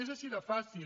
és així de fàcil